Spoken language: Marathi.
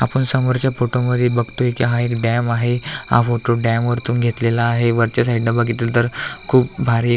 आपण समोरच्या फोटोमध्ये बघतोय की हा एक डॅम आहे हा फोटो डॅम वरतून घेतलेला आहे वरच्या साइडन बघितल तर खूप भारी --